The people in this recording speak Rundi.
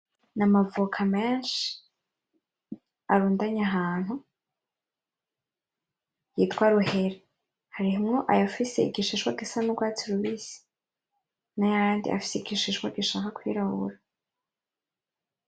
N' amavoka menshi arundanye ahantu yitwa ruheri harimwo ayafise igishishwa Gisa n' urwatsi rubisi nayandi afise igishishwa gishaka kwirabura.